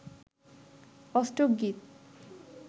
অষ্টক গীত